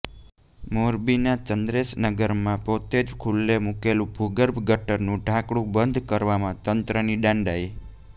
મોરબીના ચંદ્રેશનગરમાં પોતે જ ખુલ્લું મૂકેલું ભૂગર્ભ ગટરનું ઢાંકણું બંધ કરવામાં તંત્રની ડાંડાઇ